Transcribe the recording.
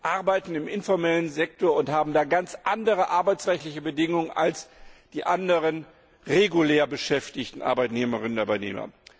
arbeiten im informellen Sektor und haben da ganz andere arbeitsrechtliche Bedingungen als die anderen regulär beschäftigten Arbeitnehmerinnen und Arbeitnehmer.